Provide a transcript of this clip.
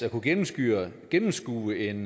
at kunne gennemskue gennemskue en